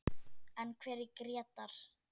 En hver er Grétar?